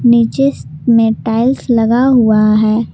नीचे में टाइल्स लगा हुआ है।